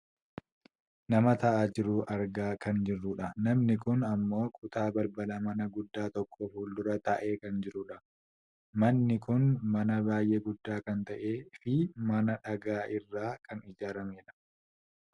nama taa'aa jiru argaa kan jirrudha namni kun ammoo kutaa balbala mana gudda tokko fuuldura taa'ee kan jirudha. manni kun mana baayyee guddaa kan ta'eefi mana dhaga irraa kan ijaarramedha.